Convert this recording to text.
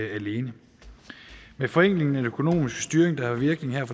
alene med forenklingen af den økonomiske styring der har virkning her